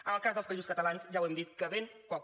en el cas dels països catalans ja hem dit que ben poca